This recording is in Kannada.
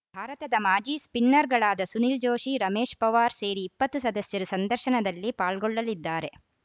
ಭಾರತದ ಮಾಜಿ ಸ್ಪಿನ್ನರ್‌ಗಳಾದ ಸುನಿಲ್‌ ಜೋಶಿ ರಮೇಶ್‌ ಪೊವಾರ್‌ ಸೇರಿ ಇಪ್ಪತ್ತು ಸದಸ್ಯರು ಸಂದರ್ಶನದಲ್ಲಿ ಪಾಲ್ಗೊಳ್ಳಲಿದ್ದಾರೆ